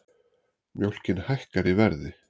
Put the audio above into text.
Mjólkin hækkar í verði